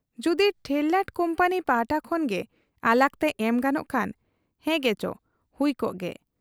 ᱡᱩᱫᱤ ᱴᱷᱮᱨᱞᱟᱴ ᱠᱩᱢᱯᱟᱱᱤ ᱯᱟᱦᱴᱟ ᱠᱷᱚᱱᱜᱮ ᱟᱞᱟᱜᱽᱛᱮ ᱮᱢ ᱜᱟᱱᱚᱜ ᱠᱷᱟᱱ, ᱦᱮᱸᱜᱮᱪᱚ ᱦᱩᱭᱠᱮ ᱾